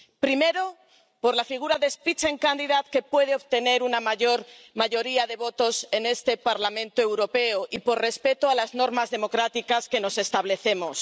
Primero, por la figura de Spitzenkandidat que puede obtener una mayoría de votos en este Parlamento Europeo y por respeto a las normas democráticas que nos establecemos.